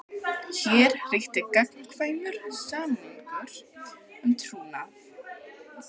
Hér ríkti gagnkvæmur samningur um trúnað.